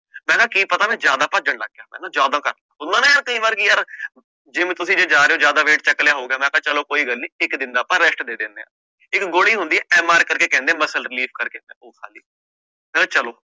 ਮੈਂ ਕਿਹਾ ਕੀ ਪਤਾ ਮੈਂ ਜ਼ਿਆਦਾ ਭੱਜਣ ਲੱਗ ਗਿਆ ਹਨਾ ਜ਼ਿਆਦਾ ਹੁੰਦਾ ਨਾ ਯਾਰ ਕਈ ਵਾਰ ਕਿ ਯਾਰ gym ਤੁਸੀਂ ਜੇ ਜਾ ਰਹੇ ਹੋ ਜ਼ਿਆਦਾ weight ਚੁੱਕ ਲਿਆ ਹੋ ਗਿਆ, ਮੈਂ ਕਿਹਾ ਚਲੋ ਕੋਈ ਗੱਲ ਨੀ ਇੱਕ ਦਿਨ ਦਾ ਆਪਾਂ rest ਦੇ ਦਿੰਦੇ ਹਾਂ, ਇੱਕ ਗੋਲੀ ਹੁੰਦੀ ਹੈ MR ਕਰਕੇ ਕਹਿੰਦੇ ਹੈ muscle relief ਕਰਕੇ ਉਹ ਖਾ ਲਈ, ਮੈਂ ਕਿਹਾ ਚਲੋ